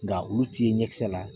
Nka olu ti ye ɲɛkisɛ la